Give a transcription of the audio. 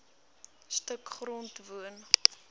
stuk grond woon